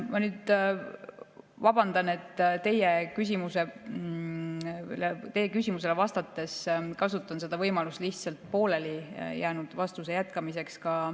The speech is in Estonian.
Ma vabandan, et teie küsimusele vastates kasutan võimalust eelmisele küsijale vastamisel poolelijäänud vastuse jätkamiseks.